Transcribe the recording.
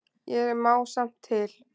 Ég má samt til.